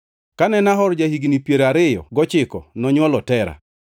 Kane Nahor ja-higni piero ariyo gochiko nonywolo Tera.